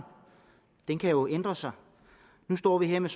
den kan jo ændre sig nu står vi her med